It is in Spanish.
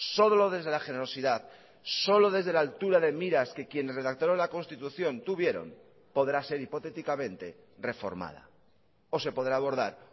solo desde la generosidad solo desde la altura de miras que quienes redactaron la constitución tuvieron podrá ser hipotéticamente reformada o se podrá abordar